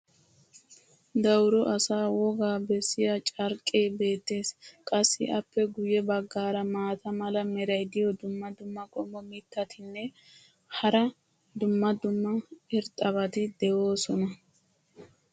Dawuro asaa wogaa bessiya carqqee beetees. qassi appe guye bagaara maata mala meray diyo dumma dumma qommo mitattinne hara dumma dumma irxxabati de'oosona.